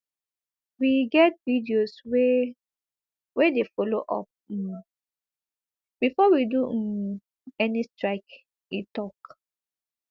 we get videos wey wey dey follow up um before we do um any strike e tok